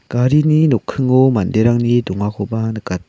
garini nokkingo manderangni dongakoba nikat--